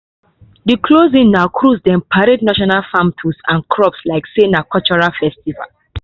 the closing na cruise dem parade traditional farm tools and crops like say na cultural festival